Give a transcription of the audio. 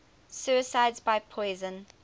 suicides by poison